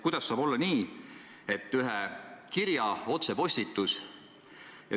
Kuidas saab olla nii, et ühe kirja otsepostitus võtab nii kaua aega?